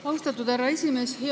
Austatud härra esimees!